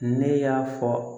Ne y'a fɔ